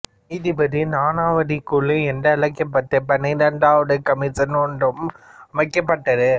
நீதிபதி நானாவதி குழு என்றழைக்கப்பட்ட பன்னிரெண்டாவது கமிஷன் ஒன்றும் அமைக்கப்பட்டது